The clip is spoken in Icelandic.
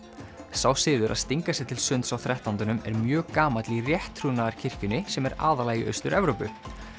sá siður að stinga sér til sunds á þrettándanum er mjög gamall í rétttrúnaðarkirkjunni sem er aðallega í Austur Evrópu